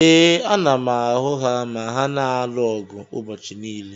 Ee, ana m ahụ ha ma ha na-alụ ọgụ ụbọchị niile.